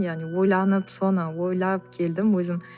яғни ойланып соны ойлап келдім өзім